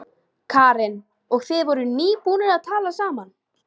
Karen: Og þið voruð nýbúnir að talast saman?